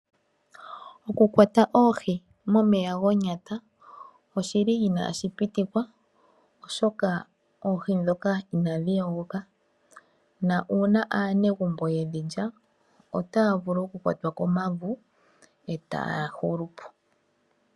Oku kwata oohi momeya gonyata oshi li inaashi pitikwa oshoka oohi ndhoka inadhi yogoka, na uuna aanegumbo yedhi lya otaya vulu oku kwatwa komavu etaya hulu po.